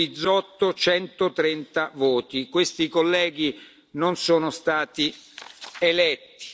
voti On. Bizzotto 130 voti Questi colleghi non sono